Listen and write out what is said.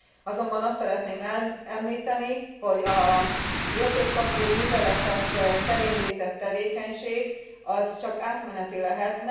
Azonban meg szeretném említeni, hogy az értékpapír műveletek terén végzett tevékenység csak átmeneti lehet.